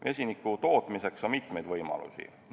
Vesiniku tootmiseks on mitmeid võimalusi.